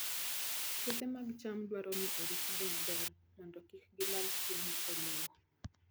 Puothe mag cham dwaro ni oritgi maber mondo kik gilal chiemo e lowo.